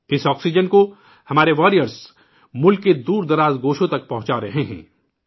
اس oxygen کو ہمارے واریئرزملک کے دور دراز علاقوں تک پہنچا رہے ہیں